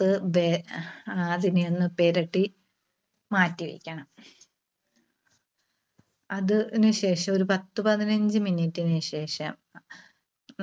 ത്ത് ദേ അതിനെ ഒന്ന് പെരട്ടി മാറ്റിവെക്കണം. അത്~ന് ശേഷം പത്തുപതിനഞ്ച് minute ന് ശേഷം